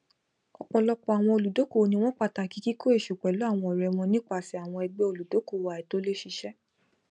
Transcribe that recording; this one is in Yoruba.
ọpọlọpọ àwọn olùdókòwò ni wọn pàtàkì kíkó èésú pẹlú àwọn ọrẹ wọn nípasẹ àwọn ẹgbẹ olùdókòwò àìtòlẹsẹẹsẹ